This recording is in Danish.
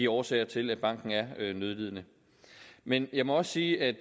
årsager til at banken er nødlidende men jeg må også sige at